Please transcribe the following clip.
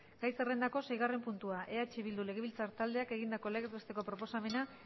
gai zerrendako seigarren puntua eh bildu legebiltzar taldeak egindako legez besteko proposamena